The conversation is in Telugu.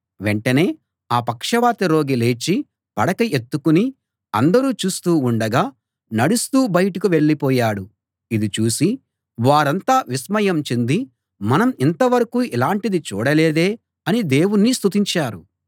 వెంటనే ఆ పక్షవాత రోగి లేచి పడక ఎత్తుకుని అందరూ చూస్తూ ఉండగా నడుస్తూ బయటకు వెళ్ళిపోయాడు ఇది చూసి వారంతా విస్మయం చెంది మనం ఇంతవరకూ ఇలాంటిది చూడలేదే అని దేవుణ్ణి స్తుతించారు